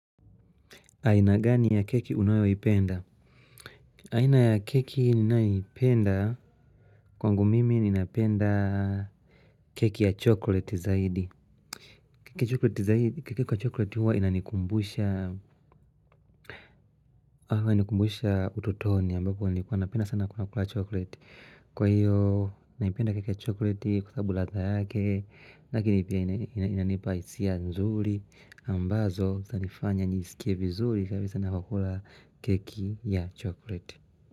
Aina gani ya keki unayoipenda? Aina ya keki ninayoipenda, kwangu mimi ninapenda keki ya chokleti zaidi. Keki ya chokoleti huwa inanikumbusha utotoni ambapo nilikuwa napenda sana kula kula chokleti. Kwa hiyo naipenda keki chokleti kwa sababu ladha yake. Lakini pia inanipa hisia nzuri ambazo zanifanya nisikie vizuri kwa hivyo sana kukula keki ya chokleti.